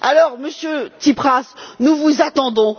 Alors, Monsieur Tsipras, nous vous attendons.